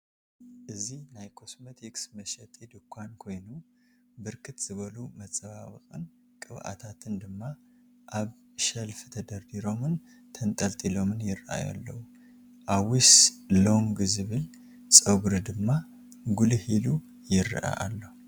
እዚ ናይ ኮስሞቲክስ መሸጢ ድንኳን ኮይኑ ብርክት ዝበሉ መፀባበቅን ቅብአታትን ድማ አብ ሸለፍ ተደርዲሮምን ተንጠልጢሎምን ይረአዩ አለዉ። አዊስ ሎንግ ዝብል ፀጉሪ ድማ ጉልህ ኢሉ ይረአ አሎ።